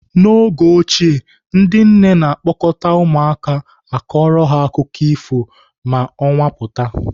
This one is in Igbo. N'oge ochie ndị nne na-a kpọkọta ụmụaka akọrọ ha akụkọ ifo ma ọnwa pụta.